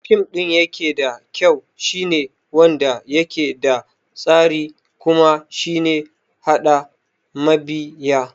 Fim ɗin dayake da kyau shine wanda yake da tasiri kuma shine haɗa mabiya